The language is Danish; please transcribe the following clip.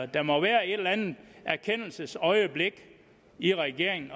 der må være et eller andet erkendelsesøjeblik i regeringen